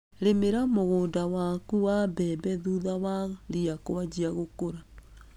Rĩmĩra mũgũnda waku wa mbembe thutha wa ria kũanjia gũkũra.